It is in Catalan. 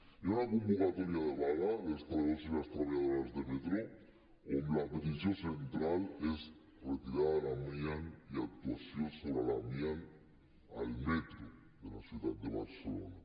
hi ha una convocatòria de vaga dels treballadors i les treballadores de metro on la petició central és retirada de l’amiant i actuació sobre l’amiant al metro de la ciutat de barcelona